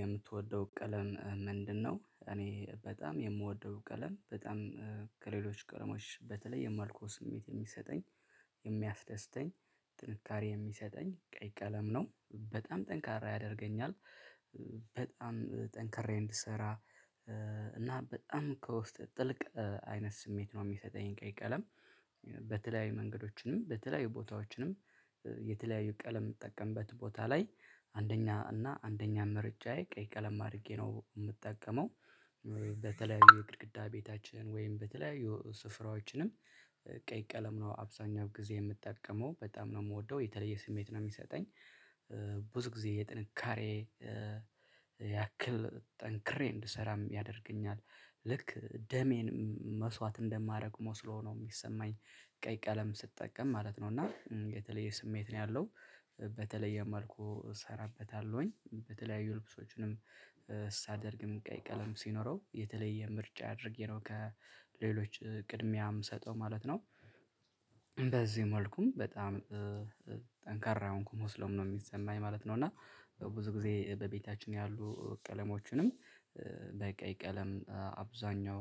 የምትወደው ቀለም ምንድነው? እኔ በጣም የምወደው ቀለም በጣም ከሌሎች ቀለሞች በተለይ የመልኩ ስሜት የሚሰጠኝ የሚያስደስተኝ ጥንካሬ የሚሰጠኝ ቀይ ቀለም ነው በጣም ጠንካራ ያደርገኛል በጣም ጠንካሬ እንድሰራ እና በጣም ከውስጥ ጥልቅ አይነት ስሜት ነው የሚሰጠኝ ቀይ ቀለም። በተለያዩ መንገዶችንም በተለያዩ ቦታዎችንም የተለያዩ ቀለም የምትጠቀምበት ቦታ ላይ አንደኛ እና አንደኛ ምርጫዬ ቀይ ቀለም አድርጌ ነው የምጠቀመው። በተለያዩ የግድግዳ ቤታችን ወይም በተለያዩ ስፍራዎችንም ቀይ ቀለም ነው አብዛኛው ጊዜ የምጠቀመው በጣም ነው የምወደው የተለየ ስሜት ነው የሚሰጠኝ። ብዙ ጊዜ የጥንካሬ ያክል ጠንክሬ እንድሰራም ያደርገኛል ልክ ደሜን መስዋዕት እንደማረግ መስሎ ነው የሚሰማኝ። ቀይ ቀለም ስጠቀም ማለት ነው እና የተለየ ስሜት ነው ያለው። በተለየ መልኩ እሰራበታለሁኝ በተለያዩ ልብሶችንም ሳደርግም ቀይ ቀለም ሲኖረው የተለየ ምርጫ አድርጌ ነው ከሌሎች ቅድሚያ የምሰጠው ማለት ነው። በዚህ መልኩም በጣም ጠንካራ የሆንኩ መስሎም ነው የሚሰማኝ ማለት ነው። እና ብዙ ጊዜ በቤታችን ያሉ ቀለሞችንም በቀይ ቀለም አብዛኛው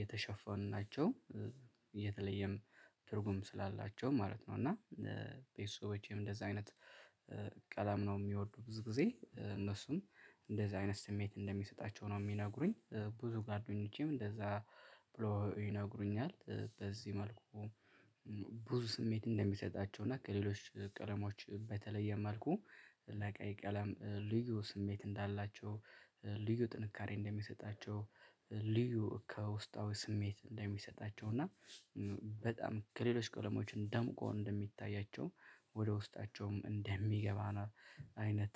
የተሸፈኑ ናቸው። የተለየም ትርጉም ስላላቸው ማለት ነው። እና ቤስቦቼም እንደዛ አይነት ቀላም ነው የሚወዱ ብዙ ጊዜ እነሱም እንደዚህ አይነት ስሜት እንደሚሰጣቸው ነው የሚነግሩኝ። ብዙ ጓደኞቼም እንደዛ ብሎ ይነግሩኛል። በዚህ መልኩ ብዙ ስሜት እንደሚሰጣቸው እና ከሌሎች ቀለሞች በተለየ መልኩ ለቀይ ቀለም ልዩ ስሜት እንዳላቸው። ልዩ ጥንካሬ እንደሚሰጣቸው ልዩ ከውስጣዊ ስሜት እንደሚሰጣቸው እና። በጣም ከሌሎች ቀለሞችም ደምቆ እንደሚታያቸው ወደ ውስጣቸውም እንደሚገባ አይነት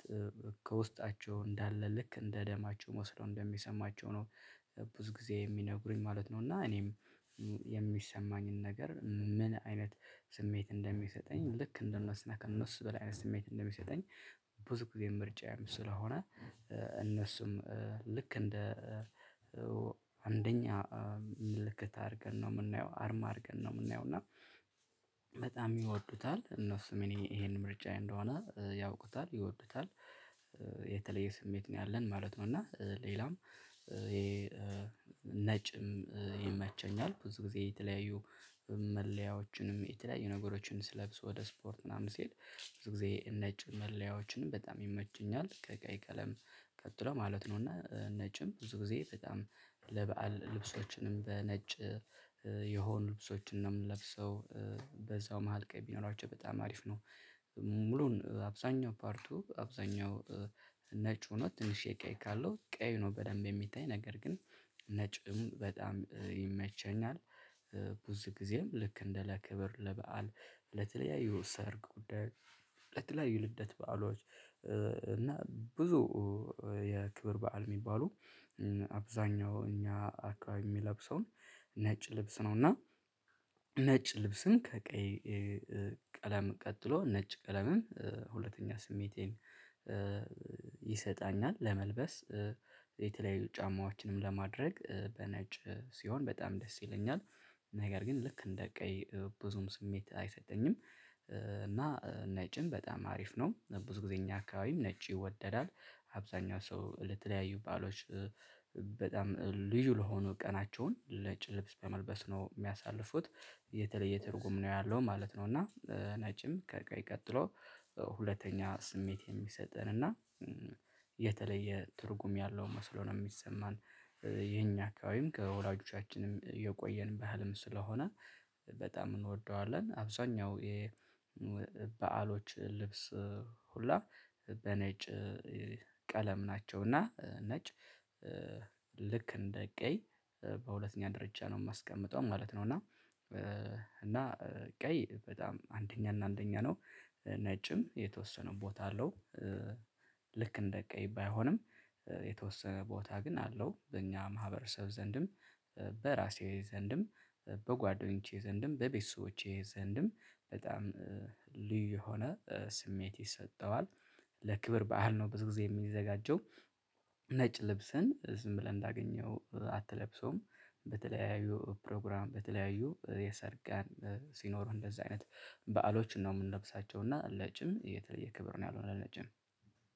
ከውስጣቸው እንዳለ ልክ እንደ ደማቸው መስሎ እንደሚሰማቸው ነው። ብዙ ጊዜ የሚነግሩኝ ማለት ነው። እና እኔም የሚሰማኝን ነገር ምን አይነት ስሜት እንደሚሰጠኝ ልክ እንደምንሰራ ከእነሱ በላይ አይነት ስሜት እንደሚሰጠኝ። ብዙ ጊዜ ምርጫየም ስለሆነ። እነሱም ልክ እንደ አንደኛ ምልክት አድርገን ነው የምናየው አርማ አድርገን ነው የምናየው። እና በጣም ይወዱታል እነሱም እኔ ይሄን ምርጫዬ እንደሆነ ያውቁታል ይወዱታል። የተለየ ስሜት ነው ያለን ማለት ነው። እና ሌላም ይሄ ነጭም ይመቸኛል ብዙ ጊዜ የተለያዩ መለያዎችንም የተለያዩ ነገሮችን ስለብስ ወደ ስፖርት ምናምን ስሄድ ብዙ ጊዜ ነጭ መለያዎችንም በጣም ይመቸኛል። ከቀይ ቀለም ቀጥሎ ማለት ነው። እና ነጭም ብዙ ጊዜ በጣም ለበአል ልብሶችንም በነጭ የሆኑ ልብሶችን ነው ምንለብሰው በዛው መሃል ቀይ ቢኖራቸው በጣም አሪፍ ነው። ሙሉን አብዛኛው ፓርቱ አብዛኛው ነጭ ሆኖ ትንሽ የቀይ ካለው ቀይ ነው በደንብ የሚታይ ነገር ግን ነጭም በጣም ይመቸኛል። ብዙ ጊዜም ልክ እንደ ለክብር ለበአል ለተለያዩ ሰርግ ጉዳይ ለተለያዩ የልደት በዓሎች እና ብዙ የክብር በዓል የሚባሉ አብዛኛውን እኛ አከባቢ ሚለብሰው ነጭ ልብስ ነው። እና ነጭ ልብስን ከቀይ ቀለም ቀጥሎ ነጭ ቀለምም ሁለተኛ ስሜቴን ይሰጣኛል። ለመልበስ የተለያዩ ጫማዎችንም ለማድረግ በነጭ ሲሆን በጣም ደስ ይለኛል። ነገር ግን ልክ እንደ ቀይ ብዙም ስሜት አይሰጠኝም። እና ነጭም በጣም አሪፍ ነው ብዙ ጊዜ እኛ አካባቢም ነጭ ይወደዳል። አብዛኛው ሰው ለተለያዩ በዓሎች በጣም ልዩ ለሆኑ ቀናቸውን ነጭ ልብስ በመልበስ ነው የሚያሳልፉት። የተለየ ትርጉም ነው ያለው ማለት ነው። እና ነጭም ከቀይ ቀጥሎ ሁለተኛ ስሜት የሚሰጠን እና የተለየ ትርጉም ያለው መስሎ ነው የሚሰማን። የኛ አካባቢም ከወላጆቻችንም የቆየን ባህልም ስለሆነ በጣም እንወደዋለን። አብዛኛው የበአሎች ልብስ ሁላ በነጭ ቀለም ናቸው። እና ነጭ ልክ እንደ ቀይ በሁለተኛ ደረጃ ነው የማስቀምጠው ማለት ነው። እና እና ቀይ በጣም አንደኛ እና አንደኛ ነው። ነጭም የተወሰነ ቦታ አለው። ልክ እንደ ቀይ ባይሆንም የተወሰነ ቦታ ግን አለው። በእኛ ማህበረሰብ ዘንድም በራሴ ዘንድም በጓደኞቼ ዘንድም በቤተሰቦቼ ዘንድም በጣም ልዩ የሆነ ስሜት ይሰጠዋል። ለክብር ባዓል ነው ብዙ ጊዜ የሚዘጋጀው። ነጭ ልብስን ዝም ብለን እንዳገኘነው አትለብሰውም። በተለያዩ ፕሮግራም በተለያዩ የሰርጋን ሲኖሩ እንደዛ አይነት በዓሎች ነው የምንነብሳቸው። እና ለነጭም የተለየ ክብር ነው ያልሆነ ለነጭም